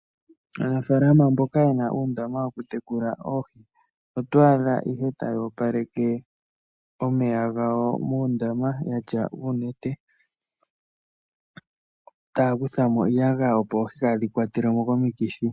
Aanafalama mboka ye na uundama wokutekula oohi oto adha ihe taya opaleke omeya gawo muundama ya tya uunete taya kutha mo iiyagaya, opo oohi kaadhi kwatelwe mo komikithi.